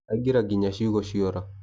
Aingĩra nginya ciugo cĩora.